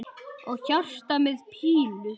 Og hjarta með pílu!